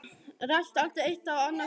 Rekst aldrei eitt á annars horn?